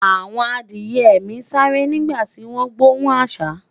àwọn Adiye mi sááre nígbà ti gbohùn asa